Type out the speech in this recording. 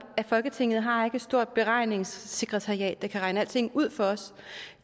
at folketinget ikke har et stort beregningssekretariat der kan regne alting ud for os